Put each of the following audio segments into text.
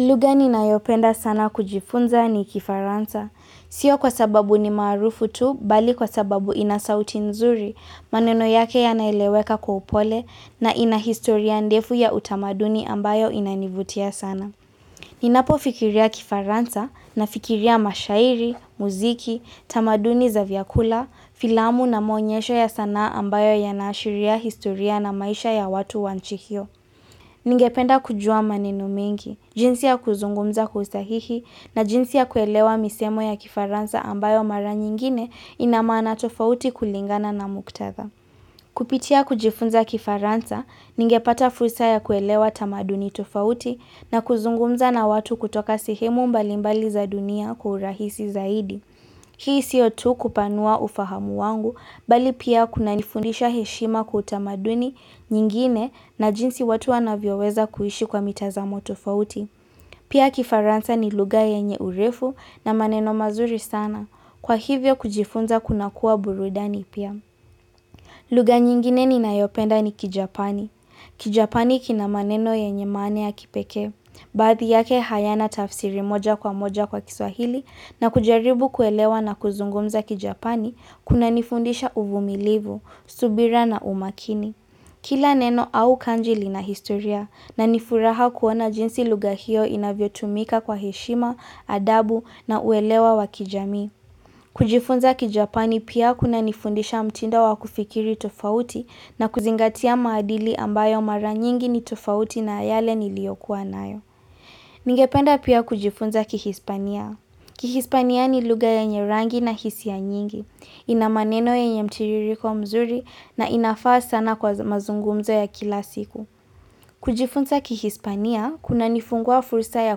Lugha ninayopenda sana kujifunza ni kifaransa. Sio kwa sababu ni marufu tu, bali kwa sababu inasauti nzuri, maneno yake yanaeleweka kwa upole na inahistoria ndefu ya utamaduni ambayo inanivutia sana. Ninapo fikiria kifaransa nafikiria mashairi, muziki, tamaduni za vyakula, filamu na maonyesho ya sanaa ambayo yana ashiria historia na maisha ya watu wa nchi hio. Ningependa kujua maneno mengi, jinsi ya kuzungumza kwa usahihi na jinsi ya kuelewa misemo ya kifaransa ambayo mara nyingine ina maana tofauti kulingana na muktadha. Kupitia kujifunza kifaransa, ningepata fursa ya kuelewa tamaduni tofauti na kuzungumza na watu kutoka sehemu mbalimbali za dunia kwa urahisi zaidi. Hii siyo tu kupanua ufahamu wangu, bali pia kunanifundisha heshima kwa utamaduni nyingine na jinsi watu wanavyo weza kuishi kwa mitazamo tofauti. Pia kifaransa ni lugha yenye urefu na maneno mazuri sana. Kwa hivyo kujifunza kunakuwa burudani pia. Lugha nyingine ninayopenda ni kijapani. Kijapani kina maneno yenye maana ya kipekee. Baadhi yake hayana tafsiri moja kwa moja kwa kiswahili na kujaribu kuelewa na kuzungumza kijapani kunanifundisha uvumilivu, subira na umakini. Kila neno au kanji lina historia na nifuraha kuona jinsi lugha hio inavyo tumika kwa heshima, adabu na uelewa wakijamii. Kujifunza kijapani pia kunanifundisha mtindo wakufikiri tofauti na kuzingatia maadili ambayo mara nyingi ni tofauti na yale niliyokuwa nayo. Ningependa pia kujifunza kihispania Kihispania ni lugha yenye rangi na hisia nyingi, ina maneno yenye mtiririko mzuri na inafaa sana kwa mazungumzo ya kila siku. Kujifunza kihispania kuna nifungua fursa ya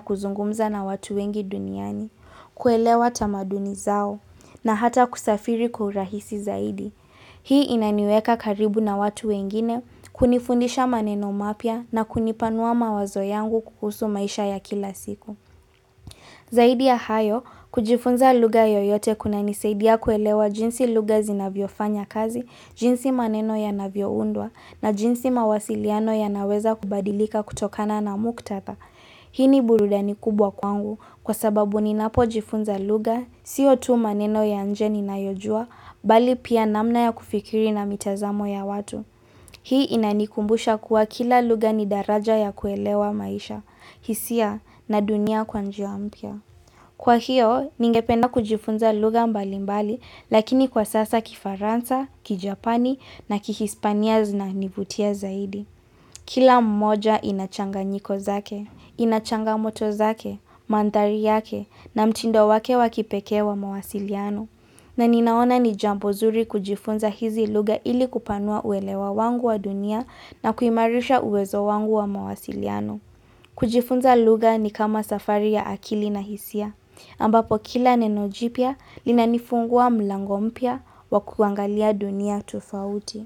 kuzungumza na watu wengi duniani. Kwelewa tamaduni zao na hata kusafiri kwa urahisi zaidi. Hii inaniweka karibu na watu wengine kunifundisha maneno mapya na kunipanua mawazo yangu kuhusu maisha ya kila siku. Zaidi ya hayo, kujifunza lugha yoyote kuna nisaidia kuelewa jinsi lugha zinavyo fanya kazi jinsi maneno yanavyo undwa na jinsi mawasiliano yanaweza kubadilika kutokana na muktadha. Hii ni burudani kubwa kwangu kwa sababu ninapo jifunza lugha, siyo tu maneno ya nje ninayojua, bali pia namna ya kufikiri na mitazamo ya watu. Hii inanikumbusha kuwa kila lugha ni daraja ya kuelewa maisha, hisia na dunia kwa njia mpya. Kwa hiyo, ningependa kujifunza luga mbali mbali, lakini kwa sasa kifaransa, kijapani na kihispania zina nivutia zaidi. Kila mmoja inachanga nyiko zake, inachanga moto zake, mantari yake na mtindo wake wakipeke wa mawasiliano. Na ninaona ni jambo zuri kujifunza hizi lugha ili kupanua uelewa wangu wa dunia na kuimarisha uwezo wangu wa mawasiliano. Kujifunza lugha ni kama safari ya akili na hisia. Ambapo kila nenojipia linanifungua mlango mpya wa kuangalia dunia tofauti.